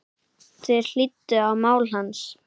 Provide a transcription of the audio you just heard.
Þeir hlýddu á mál hans.